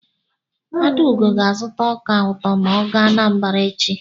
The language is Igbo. Adaugo ga-azụta ọka ụtọ ma ọ gaa Anambara echi.